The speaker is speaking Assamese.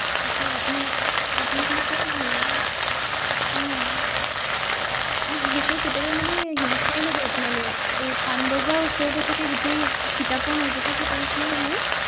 তাকে আপোনাৰ আপোনালোকৰে ভাল আৰু। আহ আৰু বিশেষকৈ কেতিয়াবা মানে হিংসাও লাগে আপোনালে, এই পানবজাৰৰ ওচৰতে থাকে গোটেই কিতাপৰ মাজতে থকা নিচিনাই হয়।